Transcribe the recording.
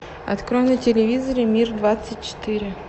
открой на телевизоре мир двадцать четыре